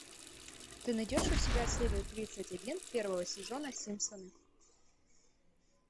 ты найдешь у себя серию тридцать один первого сезона симпсоны